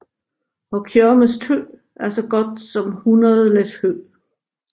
Og Kjørmes tø er så godt som 100 læs hø